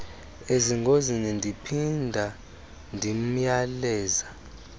ezingozini ndiphinda ndimyaleza